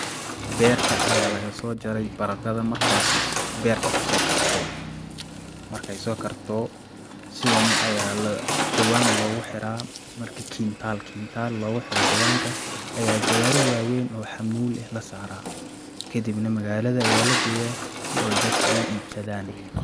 Berta aya lagaso jare baradadhan, markasi ayay berta kasokartey, markay sokarto sidani aya jawan logu xira marki kintal kintal loguxiro jawanka aya gawari waweyn oo xamul ah lasara kadibnah magalada aya lageya sio dadka uibsadan.